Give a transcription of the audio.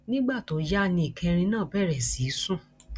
nígbà tó yá ni ìkẹrin náà bẹrẹ sí í sùn